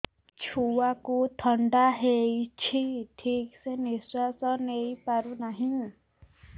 ଛୁଆକୁ ଥଣ୍ଡା ହେଇଛି ଠିକ ସେ ନିଶ୍ୱାସ ନେଇ ପାରୁ ନାହିଁ